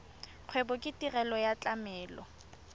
kgwebo ke tirelo ya tlamelo